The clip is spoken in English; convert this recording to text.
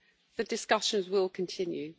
The discussions will continue.